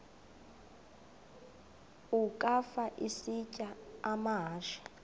ukafa isitya amahashe